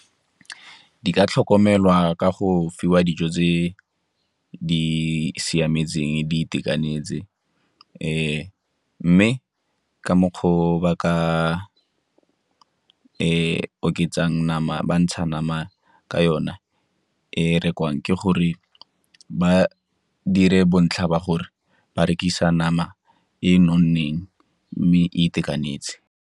Di ka tlhokomelwa ka go fiwa dijo tse di siametseng, di itekanetse mme ka mokgwa o ba ka oketsang nama, ba ntsha nama ka yona e rekwang ke gore ba dire bontlha ba gore ba rekisa nama e e nonneng mme e itekanetse.